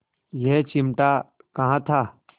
यह चिमटा कहाँ था